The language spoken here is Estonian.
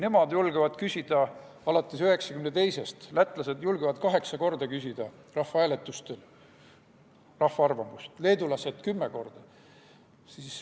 Nemad julgevad küsida, alates 1992. aastast on lätlased julgenud kaheksa korda küsida rahvahääletusel rahva arvamust, leedulased kümme korda.